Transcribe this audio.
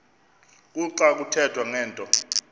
kuxa kuthethwa ngento